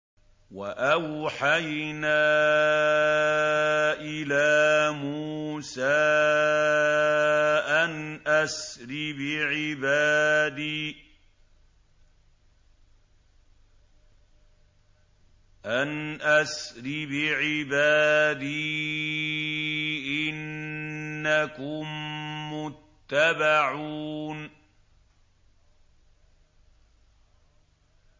۞ وَأَوْحَيْنَا إِلَىٰ مُوسَىٰ أَنْ أَسْرِ بِعِبَادِي إِنَّكُم مُّتَّبَعُونَ